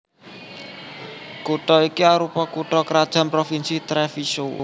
Kutha iki arupa kutha krajan Provinsi Treviso